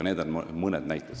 Need olid mõned näited.